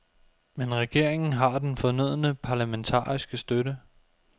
Men regeringen har den fornødne parlamentariske støtte.